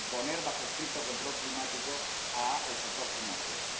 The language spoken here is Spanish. y poner bajo estricto control climático al sector financiero.